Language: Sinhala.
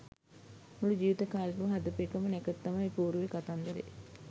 මුළු ජීවිත කාලෙටම හදපු එකම නැකත තමයි ඔය පෝරුවේ කතන්දරේ